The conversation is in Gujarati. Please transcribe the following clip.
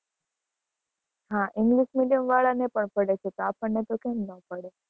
હા english medium વાળા ને પણ પડે છે. તો અપને તો કેમ ના પડે,